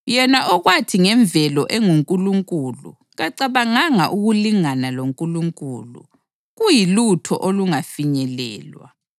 Yena okwathi ngemvelo enguNkulunkulu, kacabanganga ukulingana loNkulunkulu kuyilutho olungafinyelelwa,